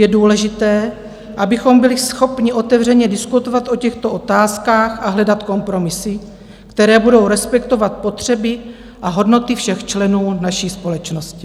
Je důležité, abychom byli schopni otevřeně diskutovat o těchto otázkách a hledat kompromisy, které budou respektovat potřeby a hodnoty všech členů naší společnosti.